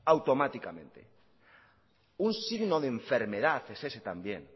automáticamente un signo de enfermedad es ese también